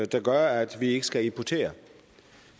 der gør at vi ikke skal importere